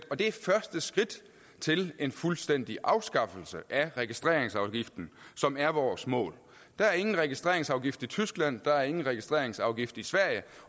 og det er første skridt til en fuldstændig afskaffelse af registreringsafgiften som er vores mål der er ingen registreringsafgift i tyskland der er ingen registreringsafgift i sverige